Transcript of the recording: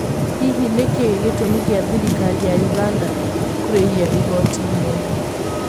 Hihi nĩ kĩĩ gĩtũmĩ kĩa thĩrĩkarĩ ya ũganda kũrĩhĩa igoti nyenda?